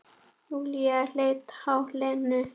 Júlía leit á Lenu.